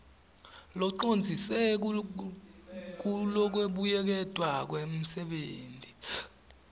locondziswe kulokubuyeketwa kwemisebenti